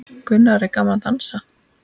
Gunnar: Er gaman að dansa?